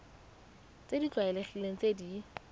tse di tlwaelegileng tse di